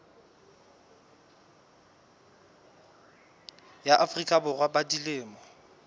ya afrika borwa ba dilemo